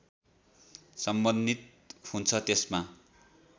सम्बन्धित हुन्छ त्यसमा